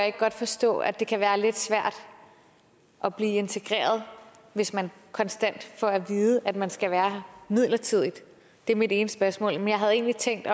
ikke godt forstå at det kan være lidt svært at blive integreret hvis man konstant får at vide at man skal være her midlertidigt det er mit ene spørgsmål jeg havde egentlig tænkt